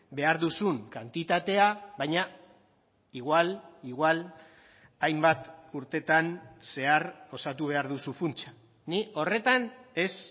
behar duzun kantitatea baina igual igual hainbat urtetan zehar osatu behar duzu funtsa ni horretan ez